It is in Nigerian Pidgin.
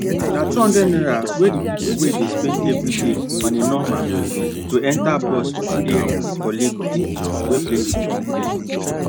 na 200 naira wey dey pipu dey spend every day on a normal to enter bus for di areas for lagos wey plenty pipu dey